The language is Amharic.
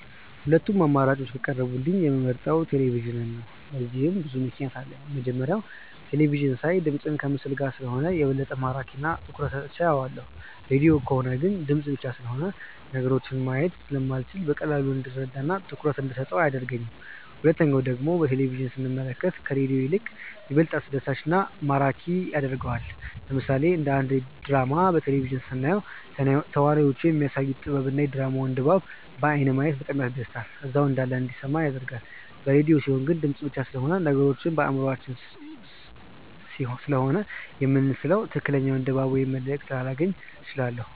ሁለቱም አማራጮች ከቀረቡልኝ የምመርጠው ቴሌቪዥንን ነው። ለዚህም ብዙ ምክንያት አለኝ። የመጀመሪያው በቴለቪዥን ሳይ ድምፅ ከምስል ጋር ስለሆነ የበለጠ ማራኪ እና ትኩረት ሰጥቼው አየዋለሁ። ሬድዮ ከሆነ ግን ድምፅ ብቻ ስለሆነ ነገሮችን ማየት ስለማልችል በቀላሉ እንድረዳው እና ትኩረት እንደሰጠው አያደርገኝም። ሁለተኛው ደግሞ በቴሌቪዥን ስንመለከት ከሬዲዮ ይልቅ ይበልጥ አስደሳች እና ማራኪ ያደርገዋል። ለምሳሌ አንድ ድራማ በቴሌቪዥን ስናየው ተዋናዮቹ የሚያሳዩት ጥበብ እና የድራማውን ድባብ በአይን ማየት በጣም ያስደስታል እዛው እንዳለን እንዲሰማን ያደርጋል። በሬድዮ ሲሆን ግን ድምፅ ብቻ ስለሆነ ነገሮችን በአእምሯችን ስሴሆነ የምንስለው ትክክለኛውን ድባብ ወይም መልእክት ላላገኝ እችላለሁ።